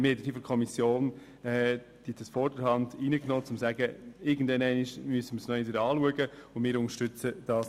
Die Kommission hat «vorderhand» aufgenommen, um zu sagen, dass dies irgendwann wieder angeschaut werden muss.